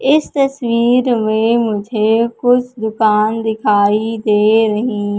इस तस्वीर में मुझे कुछ दुकान दिखाई दे रही--